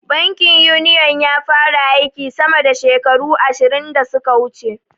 Bankin Uniyon ya fara aiki sama da shekaru ashirin da suka wuce.